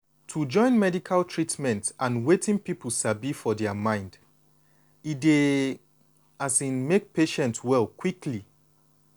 to join medical treatment and wetin people sabi for dia mind e dey um make patient well quickly.